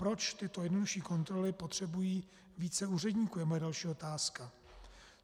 Proč tyto jednodušší kontroly potřebují více úředníků, je moje další otázka.